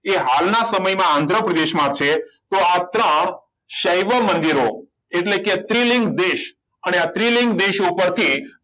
એ હાલના સમયમાં આંધ્ર પ્રદેશમાં છે તો આ ત્રણ સૈવ મંદિરો એટલે કે ત્રીલિંગ દેશ અને આ સ્ત્રીલિંગ દેશો ઉપરથી